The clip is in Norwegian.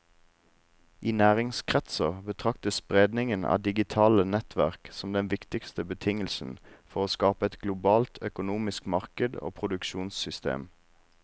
I næringslivskretser betraktes spredningen av digitale nettverk som den viktigste betingelsen for å skape et globalt økonomisk marked og produksjonssystem.